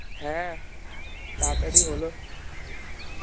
হ্যাঁ তাড়াতাড়ি হলো